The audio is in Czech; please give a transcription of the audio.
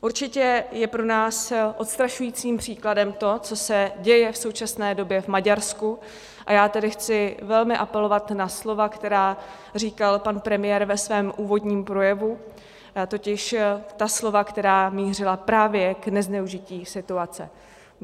Určitě je pro nás odstrašujícím příkladem to, co se děje v současné době v Maďarsku, a já tedy chci velmi apelovat na slova, která říkal pan premiér ve svém úvodním projevu, totiž ta slova, která mířila právě k nezneužití situace.